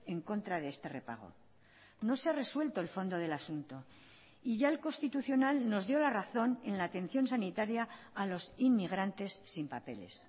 en contra de este repago no se ha resuelto el fondo del asunto y ya el constitucional nos dio la razón en la atención sanitaria a los inmigrantes sin papeles